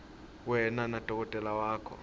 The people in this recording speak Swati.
wena nadokotela wakho